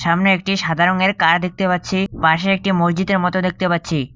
সামনে একটি সাদা রংয়ের কার দেখতে পাচ্ছি পাশে একটি মসজিদের মতো দেখতে পাচ্ছি।